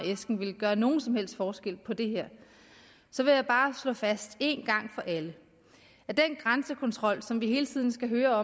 af æsken ville gøre nogen som helst forskel på det her så vil jeg bare slå fast en gang for alle at den grænsekontrol som vi hele tiden skal høre